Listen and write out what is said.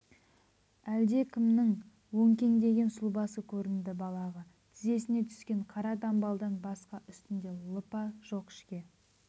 әлдекімнің өңкеңдеген сұлбасы көрінді балағы тізесіне түстен қара дамбалдан басқа үстінде лыпа жоқ ішке